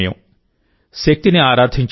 శక్తిని ఆరాధించే సమయం